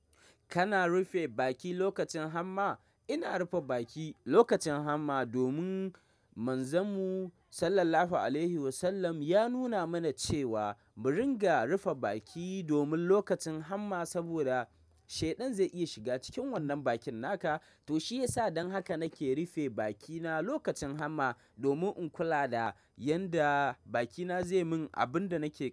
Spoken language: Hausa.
Kana rufe baki lokacin hamma? Ina rufe baki lokacin hamma domin Manzanmu sallallahu alaihi wasallam ya nuna mana cewa mu ringa rufe baki domin lokacin hamma saboda shaidan zai iya shiga cikin wannan bakin naka. To shiyasa dan haka nake rufe bakina lokacin hamma domin in kula da yanda bakina zai min abin da nake.